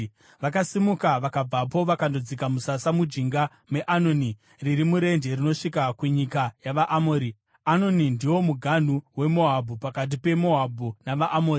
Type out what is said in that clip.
Vakasimuka vakabvapo vakandodzika musasa mujinga meAnoni, riri murenje rinosvika kunyika yavaAmori. Anoni ndiwo muganhu weMoabhu, pakati peMoabhu navaAmori.